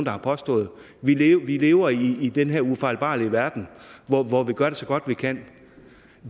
har påstået vi lever vi lever i den her ufejlbarlige verden hvor vi gør det så godt vi kan